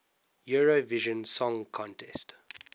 eurovision song contest